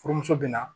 Furumuso bɛ na